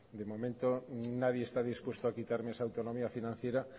de momento nadie está dispuesto a quitarme esa autonomía financiera